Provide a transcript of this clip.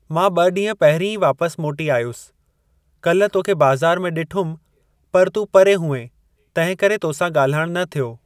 मां ब॒ ॾींहं पहिरीं ई वापसि मोटी आयुसि। काल्हि तोखे बाज़ारि में डि॒ठुमि पर तूं परे हुएं, तंहिं करे तोसां ॻाल्हाइणु न थियो।